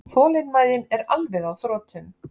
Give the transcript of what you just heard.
Þolinmæðin er alveg á þrotum